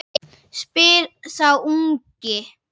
spyr sá ungi.